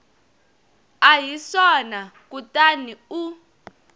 a hi swona kutani u